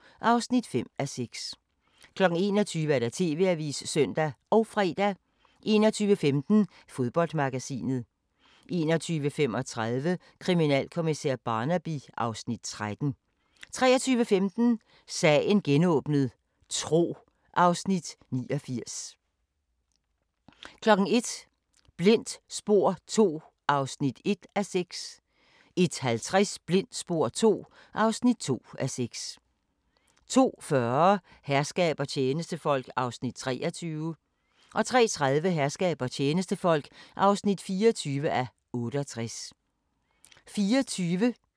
09:00: Tyskland: Den store nabo * 09:30: Sidste nyt fra Østfronten * 10:00: De vilde 60'ere: Vietnam 1964-1969 (6:10)* 10:45: Megakonstruktioner af mursten * 11:35: Megakonstruktioner af stål * 12:25: Megakonstruktioner af beton * 13:15: Sommer i Lidenlund: Lemvig (Afs. 5) 15:15: Vi elsker Brøndby * 17:15: Rio Conchos 19:00: Din yndlingsmad: Chokoladefabrikken *